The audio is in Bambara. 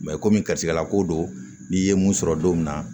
komi karisala ko don n'i ye mun sɔrɔ don min na